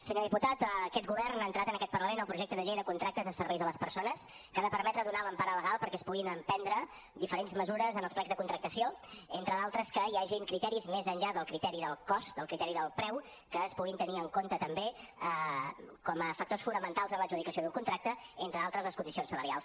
senyor diputat aquest govern ha entrat en aquest parlament el projecte de llei de contractes de serveis a les persones que ha de permetre donar l’empara legal perquè es puguin emprendre diferents mesures en els plecs de contractació entre d’altres que hi hagin criteris més enllà del criteri del cost del criteri del preu que es puguin tenir en compte també com a factors fonamentals en l’adjudicació d’un contracte entre altres les condicions salarials